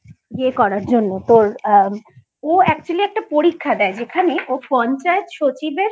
পরীক্ষা দেওয়ার জন্য তোর ও Actually একটা পরীক্ষা দে যেখানে ও পঞ্চায়েত সচিবের